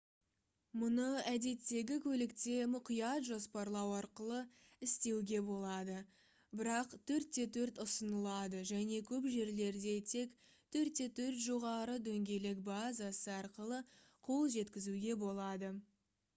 мұны әдеттегі көлікте мұқият жоспарлау арқылы істеуге болады бірақ 4x4 ұсынылады және көп жерлерде тек 4x4 жоғары дөңгелек базасы арқылы қол жеткізуге болады